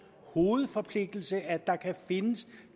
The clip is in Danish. hovedforpligtelse at der kan findes